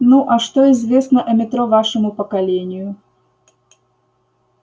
ну а что известно о метро вашему поколению